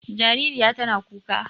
Jaririya tana kuka.